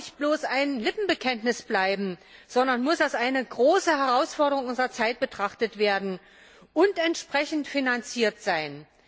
Es darf auch nicht bloß ein Lippenbekenntnis bleiben, sondern es muss als eine große Herausforderung unserer Zeit betrachtet werden und entsprechend finanziert sein.